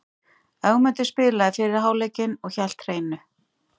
Ögmundur spilaði fyrri hálfleikinn og hélt hreinu.